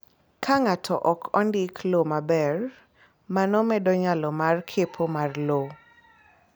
Ka ng’ato ok ondik low maber, mano medo nyalo mar kepo mar lowo.